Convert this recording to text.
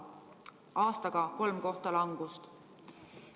Aastaga on tulnud kolm kohta langust.